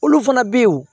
Olu fana bɛ ye